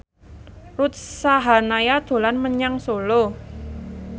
Ruth Sahanaya dolan menyang Solo